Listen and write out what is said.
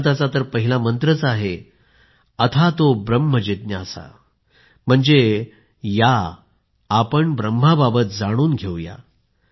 वेदांतचा तर पहिला मंत्रच आहे अथातो ब्रह्म जिज्ञासा म्हणजे या आपण ब्रह्माबाबत जाणून घेऊया